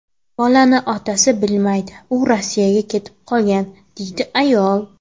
Bolani otasi bilmaydi, u Rossiyaga ketib qolgan”, deydi ayol.